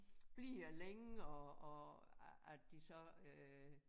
Bliver længe og og at de så øh